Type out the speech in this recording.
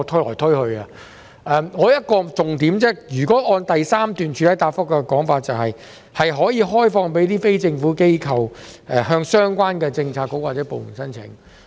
我只有一個重點，按照主體答覆第三部分的說法，有關的物業可以開放予非政府機構向相關政策局或部門申請。